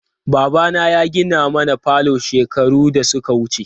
Babana ya gina mana falo shekaru da suka wuce.